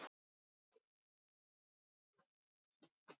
Hjördís Rut: Og ertu bjartsýn á að fá lóð?